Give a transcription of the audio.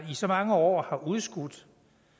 så mange år har udskudt